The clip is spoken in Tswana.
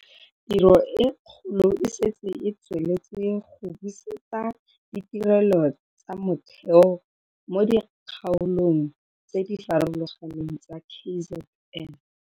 Tiro e kgolo e setse e tsweletse go busetsa ditirelo tsa motheo mo dikgaolong tse di farologaneng tsa KZN.